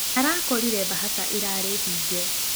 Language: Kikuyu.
Arakorĩre bahaca ĩrarĩ hĩnge.